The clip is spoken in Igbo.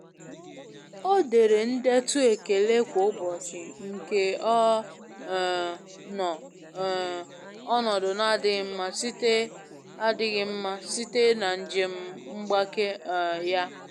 O dere ndetu ekele kwa ụbọchị nke ọ um nọ um onodu na adịghi mma site adịghi mma site na njem mgbake um ya.